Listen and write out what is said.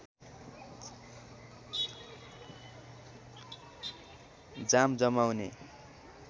जाम जमाउने